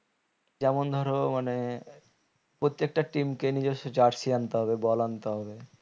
যেমন ধরো মানে প্রত্যেকটা team কে নিজস্ব jersey আনতে হবে ball আনতে হবে